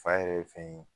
Fa yɛrɛ ye fɛn ye